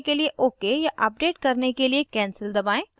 जारी रखने के लिए ok या अपडेट करने के लिए cancel दबाएं